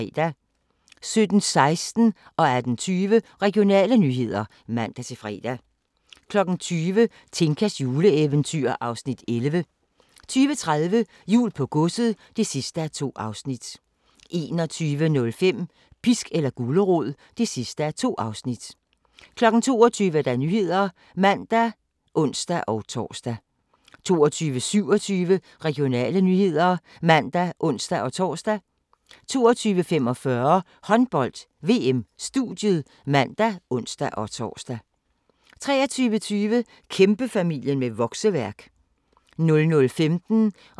17:16: Regionale nyheder (man-fre) 18:20: Regionale nyheder (man-fre) 20:00: Tinkas juleeventyr (Afs. 11) 20:30: Jul på godset (2:2) 21:05: Pisk eller gulerod (2:2) 22:00: Nyhederne (man og ons-tor) 22:27: Regionale nyheder (man og ons-tor) 22:45: Håndbold: VM - studiet (man og ons-tor) 23:20: Kæmpefamilie med vokseværk 00:15: Grænsepatruljen